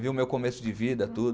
Viu o meu começo de vida, tudo.